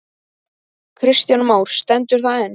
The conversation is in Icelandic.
Kristján Már: Stendur það enn?